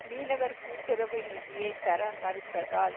மீனவர் கூட்டுறவு நிதியை தர மறுத்ததால்